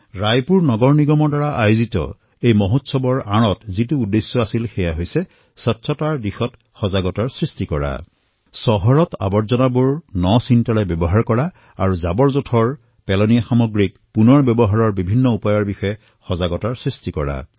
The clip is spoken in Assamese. ৰায়পুৰ নগম নিগমৰ দ্বাৰা আয়োজিত এই মহোৎসৱৰ অন্তৰালত যি উদ্দেশ্য আছিল সেয়া হল স্বচ্ছতা সন্দৰ্ভত সজাগতা প্ৰদান কৰা চহৰৰ জাবৰসমূহৰ সৃজনীমূলক ব্যৱহাৰ তথা বৰ্জ্যসমূহক পুনৰ ব্যৱহাৰ কৰাৰ বিভিন্ন প্ৰকাৰ সন্দৰ্ভত সজাগতা প্ৰদান কৰা